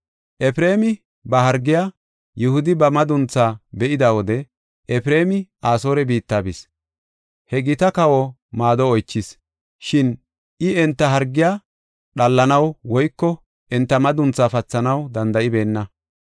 “ ‘Efreemi ba hargiya, Yihudi ba madunthaa be7ida wode Efreemi Asoore biitta bis; he gita kawa maado oychis. Shin I enta hargiya dhallanaw woyko enta madunthaa pathanaw danda7ibeenna.